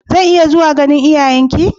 Zan iya zuwa ganin iyayenki?